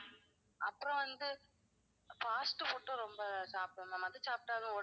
அப்பறம் வந்து fast food ம் ரொம்ப சாப்பிடுவேன் ma'am. அது சாப்பிட்டாலும்